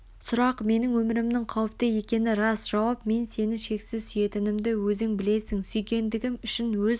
сұрақ менің өмірімнің қауіпте екені рас жауап мен сені шексіз сүйетінімді өзің білесің сүйгендігім үшін өз